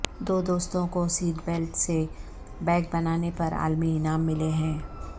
دو دوستوں کو seat belt سے بیگ بنانے پر عالمی انعام ملے ہیں